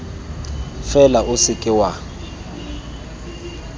fela o se ka wa